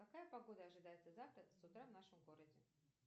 какая погода ожидается завтра с утра в нашем городе